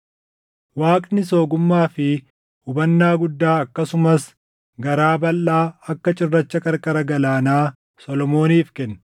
Waaqnis ogummaa fi hubannaa guddaa akkasumas garaa balʼaa akka cirracha qarqara galaanaa Solomooniif kenne.